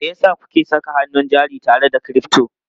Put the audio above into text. Me yasa kuke saka hannun jari tare da crypto?